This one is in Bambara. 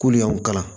K'olu y'anw kalan